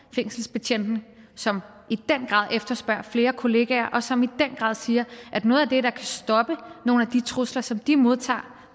fængselsbetjentene som i den grad efterspørger flere kolleger og som i den grad siger at noget af det der kan stoppe nogle af de trusler som de modtager